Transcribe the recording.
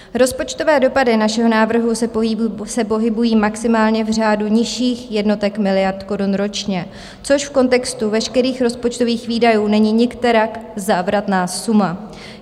Rozpočtové dopady našeho návrhu se pohybují maximálně v řádu nižších jednotek miliard korun ročně, což v kontextu veškerých rozpočtových výdajů není nikterak závratná suma.